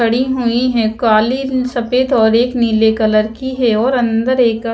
खड़ी हुई है काले सफेद और एक नीले कलर की है और अंदर एक का--